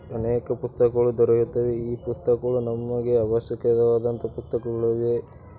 ಅನೇಕ ಪುಸ್ತಕಗಳನ್ನು ದೊರೆಯುತ್ತವೆ ಈ ಪುಸ್ತಕವನ್ನು ನಮಗೆ ಅವಶ್ಯಕತೆ ಇರುವಂತ ಪುಸ್ತಕಗಳಲ್ಲಿ--